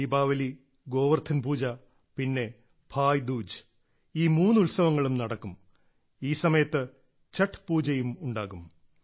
ദീപാവലി ഗോവർദ്ധൻ പൂജ പിന്നെ ഭായ്ദൂജ് ഈ മൂന്ന് ഉത്സവങ്ങളും നടക്കും ഈ സമയത്ത് ഛഠ് പൂജയും ഉണ്ടാകും